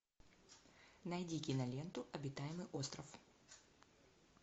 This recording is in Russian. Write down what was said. найди киноленту обитаемый остров